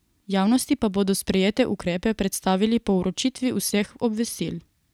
Javnosti pa bodo sprejete ukrepe predstavili po vročitvi vseh obvestil.